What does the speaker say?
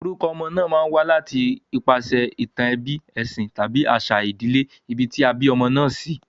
Orukọ ọmọ ma n wá láti ipasè ìtàn ebí, èsìn tàbí àsà ìbílè ibi tí a bí ọmọ náà sí